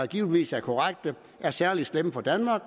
givetvis er korrekte er særlig slemme for danmark